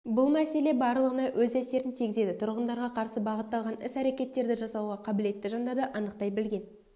бұл мәселе барлығына өз әсерін тигізеді тұрғындарға қарсы бағытталған іс-әрекеттерді жасауға қабілетті жандарды анықтай білген